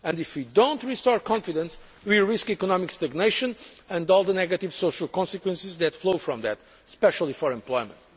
If we do not restore confidence, we will risk economic stagnation and all the negative social consequences that flow from that, especially for employment.